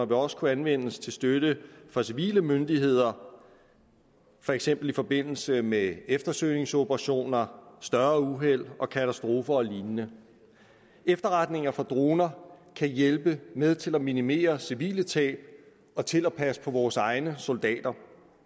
vil også kunne anvendes til støtte for civile myndigheder for eksempel i forbindelse med eftersøgningsoperationer større uheld katastrofer og lignende efterretninger fra droner kan hjælpe med til at minimere civile tab og til at passe på vores egne soldater